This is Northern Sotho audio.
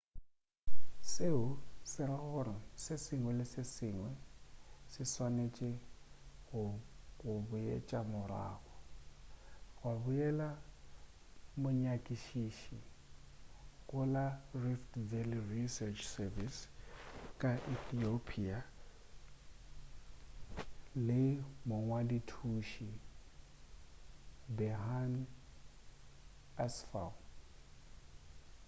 seo se ra gore se sengwe le se sengwe se swanetše go boetšwa morago gwa bolela monyakišiši go la rift valley research service ka ethiopia le mongwadi-thuši berhane asfaw